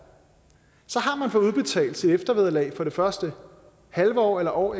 så har man fået udbetalt sit eftervederlag for det første halve år eller år